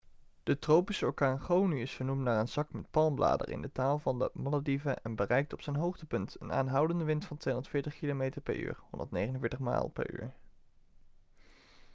de tropische orkaan gonu is vernoemd naar een zak met palmbladeren in de taal van de malediven en bereikte op zijn hoogtepunt een aanhoudende wind van 240 kilometer per uur 149 mijl per uur